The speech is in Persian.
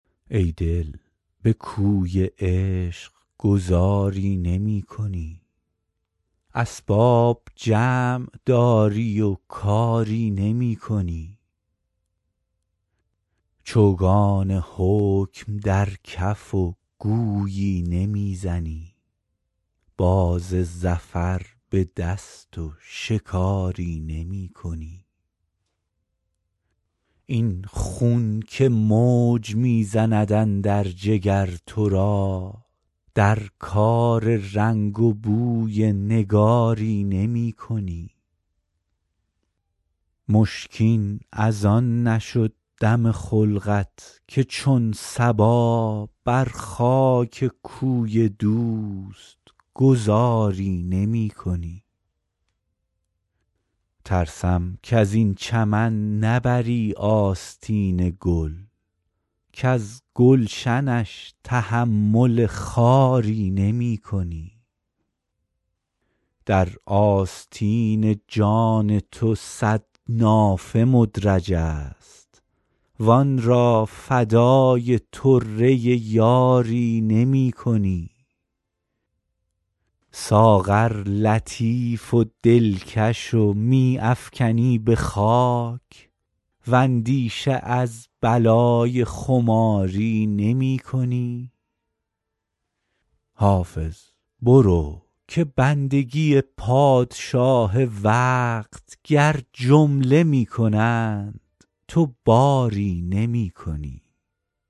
ای دل به کوی عشق گذاری نمی کنی اسباب جمع داری و کاری نمی کنی چوگان حکم در کف و گویی نمی زنی باز ظفر به دست و شکاری نمی کنی این خون که موج می زند اندر جگر تو را در کار رنگ و بوی نگاری نمی کنی مشکین از آن نشد دم خلقت که چون صبا بر خاک کوی دوست گذاری نمی کنی ترسم کز این چمن نبری آستین گل کز گلشنش تحمل خاری نمی کنی در آستین جان تو صد نافه مدرج است وآن را فدای طره یاری نمی کنی ساغر لطیف و دلکش و می افکنی به خاک واندیشه از بلای خماری نمی کنی حافظ برو که بندگی پادشاه وقت گر جمله می کنند تو باری نمی کنی